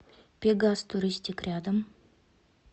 пегас туристик рядом